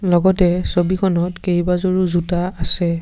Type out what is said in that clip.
লগতে ছবিখনত কেইবাজোৰো জোতা আছে।